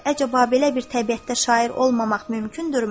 Əcəba, belə bir təbiətdə şair olmamaq mümkündürmü?